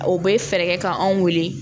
O bɛ fɛɛrɛ kɛ ka anw weele